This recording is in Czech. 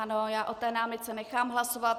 Ano, já o té námitce nechám hlasovat.